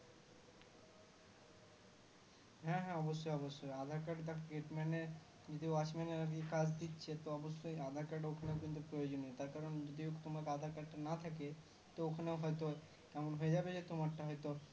হ্যাঁ হ্যাঁ অবশ্যই অবশ্যই aadhar card তাই gate man এর যে watchman এর আর কি কাজ দিচ্ছে তো অবশ্যই aadhar card ওখানে কিন্তু প্রয়োজনীয় তার কারণ যদি তোমার aadhar card টি না থাকে তো ওখানে হয়তো এমন হয়ে যাবে যে তোমারটা হয়তো